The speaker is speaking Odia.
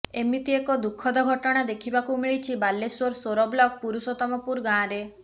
ଏମିତି ଏକ ଦୁଃଖଦ ଘଟଣା ଦେଖିବାକୁ ମିଳିଛି ବାଲେଶ୍ୱର ସୋର ବ୍ଲକ ପୁରୁଷୋତମପୁର ଗାଁରେ